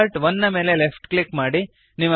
start 1 ನ ಮೇಲೆ left click ಮಾಡಿರಿ